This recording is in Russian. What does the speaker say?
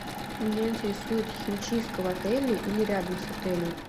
меня интересует химчистка в отеле или рядом с отелем